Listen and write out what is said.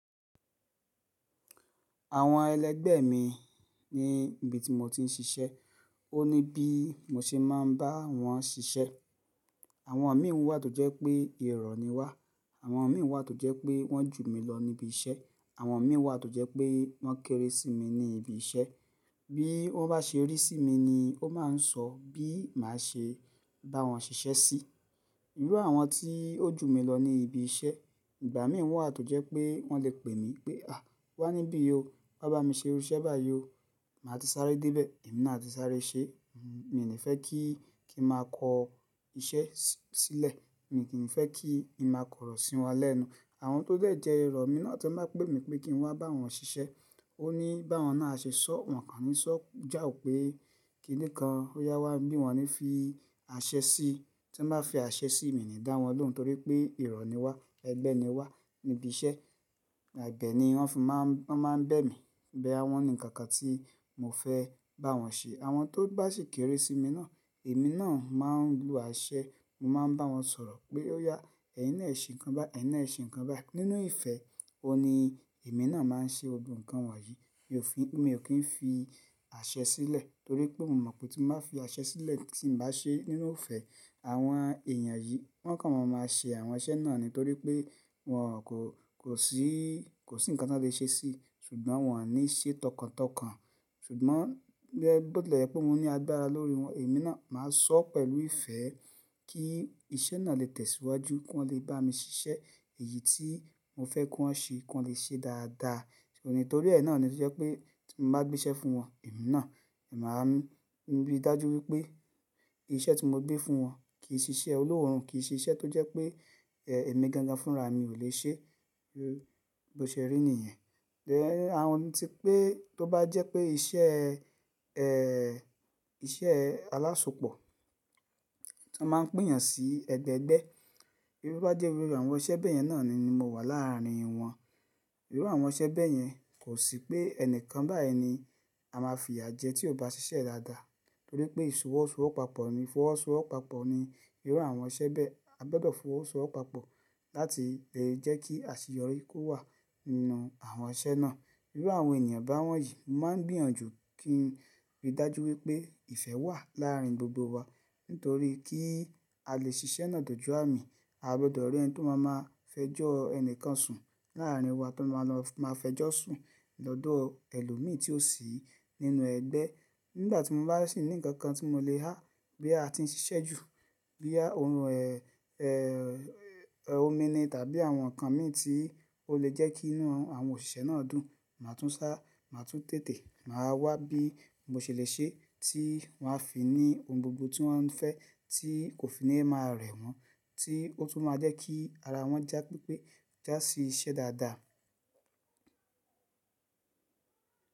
Àwọn ẹlẹgbẹ́ mi ní ibi tí mo ti ń ṣiṣẹ́. Ó ní bí mo ṣe máa ń bá wọn ṣiṣẹ́. Àwọn mi wà tó jẹ́ pé ìrọ̀ni wá, àwọn mi wà tó jẹ́ pé wọ́n jù mí lọ níbi iṣẹ́, àwọn mi wà tó jẹ́ pé wọ́n kéré sí mi ní ibi iṣẹ́. Bí wọ́n bá ṣe rí sí mi ni ó máa ń sọ bí màá ṣe bá wọn ṣiṣẹ́ sí. Irú àwọn tí ó jù mí lọ ní ibi iṣẹ́, ìgbà mí wà tó jẹ́ pé wọ́n lè pè mí pé, "à! Wá níbí o, wá bá mi ṣe irú iṣẹ́ báyìí o." Màá ti sáré dé ibẹ̀, èmi náà ti sáré ṣe. Mi ò ní fẹ́ kí kí n máa kọ iṣẹ́ sílẹ̀, mi kì í fẹ́ kí ì máa kọ̀rọ̀ sí wọn lẹ́nu. Àwọn tó lè jẹ́ ìrọ̀ mi náà tí máa pè mí pé kí n wá bá wọn ṣiṣẹ́. Ó ní bá wọn náà ṣe sọ, wọ́n kàn ní sọ já ò pé kí nìkan ó yá wá níbí wọn ní fi àṣẹ sí. Tí wọ́n bá fi àṣẹ sí mi ni dá wọn lòún torí pé ìrọ̀ni wá, ẹgbẹ́ ni wá níbi iṣẹ́. Ebe ni wọ́n fi máa ń, wọ́n máa ń bẹ́ mi. Bóyá wọ́n ni nǹkankan tí mo fẹ́ bá wọn ṣe. Àwọn tó bá sì kéré sí mi náà, èmi náà máa ń lo àṣẹ. Mo máa ń bá wọn sọ̀rọ̀ pé óyá, ẹ̀yin náà ṣe nǹkan báyìí, ẹ̀yin náà ṣe nǹkan báyìí. Nínú ìfẹ́, ó ní èmi náà máa ń ṣe gbogbo nǹkan wọ̀nyí. Mi ò kí ń fi àṣẹ sílẹ̀ torí pé mo mọ̀ pé tí mo bá fi àṣẹ sílẹ̀, tí n bá ṣe nínú ifẹ́, àwọn èèyàn yìí wọ́n kàn máa máa ṣe àwọn iṣẹ́ náà ní torí pé wọn kò, kò sí, kò sí nǹkan tí wọ́n lè ṣe sí i ṣùgbọ́n wọn ò ní ṣe tọkàntọkàn. Ṣùgbọ́n bódò lẹ́ pé mo ní agbára lórí wọn, èmi náà màá sọ pẹ̀lú ìfẹ́ kí iṣẹ́ náà lè tẹ̀síwájú, kí wọn lè bá mi ṣiṣẹ́ èyí tí mo fẹ́ kí wọ́n ṣe kí wọn lè ṣe dáadáa. Nítorí ẹ náà ni ó jẹ́ pé tí mo bá gbé iṣẹ́ fún wọn, èmi náà, èmi máa ń rí i dájú wípé iṣẹ́ tí mo gbé fún wọn kì í ṣe iṣẹ́ olóòórùn, kì í ṣe iṣẹ́ tó jẹ́ pé èmi gangan fúnra mi ò lè ṣe. Bí ó ṣe rí nìyẹn. Ẹ̀hn àwọn tí pé tó bá jẹ́ pé iṣẹ́, ẹ́ẹ́ iṣẹ́ aláṣepọ̀ tó máa ń pín yàn sí ẹgbẹẹgbẹ́. Irú bá jẹ́ irú àwọn iṣẹ́ bẹ́ẹ̀ yẹn náà ni mo wà láàárín wọn. Irú àwọn iṣẹ́ bẹ́ẹ̀ yẹn kò sí pé ẹnìkan báà ni a máa fiya jẹ tí ó bá ṣiṣẹ́ dáadáa torí pé ìfọwọ́sowọ́papọ̀ ni, ìfọwọ́sowọ́papọ̀ ni irú àwọn iṣẹ́ bẹ́ẹ̀. A gbọdọ̀ fọwọ́sowọ́papọ̀ láti jẹ́ kí àṣeyọrí kó wà nínú àwọn iṣẹ́ náà. Irú àwọn ènìyàn bá wọ́n yìí, mo máa ń gbìyànjú kí n rí dájú wípé ìfẹ́ wà láàárín gbogbo wa nítorí kí a lè ṣe iṣẹ́ náà dọjú àmì, a gbọdọ̀ rí ẹni tó máa máa fẹjọ́ ẹnìkan sùn láàárín wa, tó máa lọ máa fẹjọ́ sùn lọ́dọ̀ ẹlòmíràn tí ó sì nínú ẹgbẹ́. Nígbà tí mo bá sì ní ǹkan kan tí mo lè há bí a ti ń ṣiṣẹ́ jù, bíi ohun ẹ̀, ẹ́ ẹ́ omi ni tàbí àwọn ǹkan mìíràn tí ó lè jẹ́ kí inú àwọn òṣìṣẹ́ náà dùn, màá tún sá, màá tún tètè, màá wá bí mo ṣèlè ṣe tí wọn á fi ní ohun gbogbo tí wọ́n fẹ́ tí kò fi ní máa rẹ̀ wọ́n, tí ó tún máa jẹ́ kí ara wọ́n já pípé, já sí iṣẹ́ dáadáa.